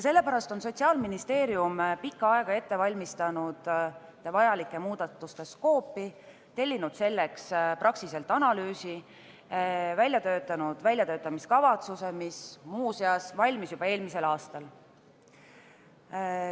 Sellepärast on Sotsiaalministeerium pikka aega ette valmistanud vajalike muudatuste skoopi, tellinud selleks Praxiselt analüüsi ning koostanud väljatöötamiskavatsuse, mis muuseas valmis juba eelmisel aastal.